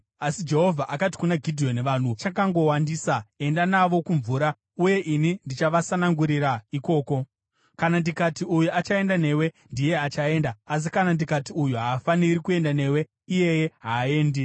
Asi Jehovha akati kuna Gidheoni, “Vanhu vachakangowandisa. Enda navo kumvura, uye ini ndichavasanangurira ikoko. Kana ndikati, ‘Uyu achaenda newe,’ ndiye achaenda; asi kana ndikati, ‘Uyu haafaniri kuenda newe,’ iyeye haaendi.”